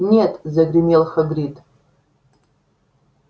нет загремел хагрид